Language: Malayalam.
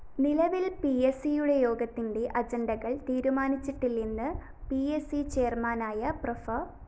നിലവില്‍ പിഎസിയുടെ യോഗത്തിന്റെ അജണ്ടകള്‍ തീരുമാനിച്ചിട്ടില്ലെന്ന് പി അ സി ചെയര്‍മാനായ പ്രോഫ്‌